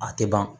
A tɛ ban